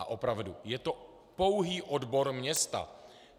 A opravdu, je to pouhý odbor města.